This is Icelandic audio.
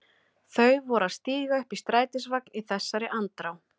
Þau voru að stíga upp í strætisvagn í þessari andrá.